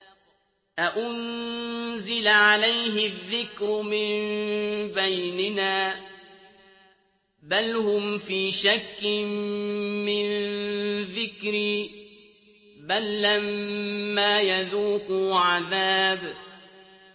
أَأُنزِلَ عَلَيْهِ الذِّكْرُ مِن بَيْنِنَا ۚ بَلْ هُمْ فِي شَكٍّ مِّن ذِكْرِي ۖ بَل لَّمَّا يَذُوقُوا عَذَابِ